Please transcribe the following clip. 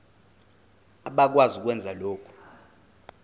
abakwazi ukwenza lokhu